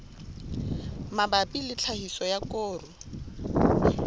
mabapi le tlhahiso ya koro